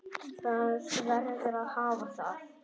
Það verður að hafa það.